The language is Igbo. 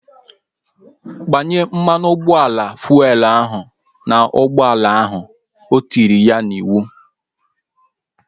Gbanye mmanụ ụgbọala fuelu ahu n'ụgbọala ahu! O tiri ya n'iwu